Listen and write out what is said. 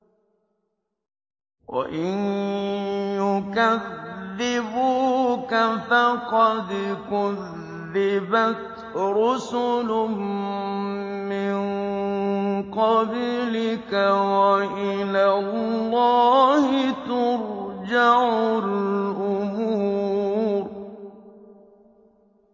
وَإِن يُكَذِّبُوكَ فَقَدْ كُذِّبَتْ رُسُلٌ مِّن قَبْلِكَ ۚ وَإِلَى اللَّهِ تُرْجَعُ الْأُمُورُ